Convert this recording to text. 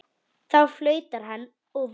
Þá flautar hann og veifar.